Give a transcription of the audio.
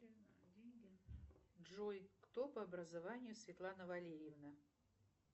джой кто по образованию светлана валерьевна